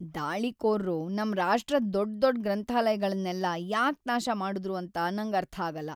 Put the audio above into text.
ದಾಳಿಕೋರ್ರು ನಮ್ ರಾಷ್ಟ್ರದ್ ದೊಡ್ದೊಡ್ ಗ್ರಂಥಾಲಯಗಳ್ನೆಲ್ಲ ಯಾಕ್ ನಾಶ ಮಾಡುದ್ರು ಅಂತ ನಂಗರ್ಥಾಗಲ್ಲ.